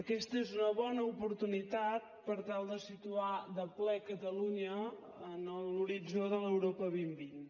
aquesta és una bona oportunitat per tal de situar de ple catalunya en l’horitzó de l’europa dos mil vint